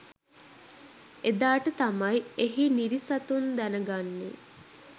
එදාට තමයි එහි නිරි සතුන් දැනගන්නේ